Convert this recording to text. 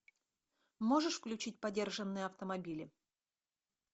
можешь включить подержанные автомобили